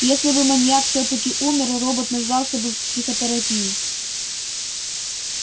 если бы маньяк всё-таки умер робот нуждался бы в психотерапии